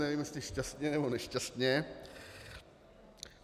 Nevím, jestli šťastně, nebo nešťastně.